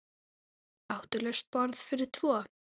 Áttu laust borð fyrir tvo?